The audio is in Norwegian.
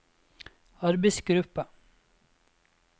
arbeidsgruppa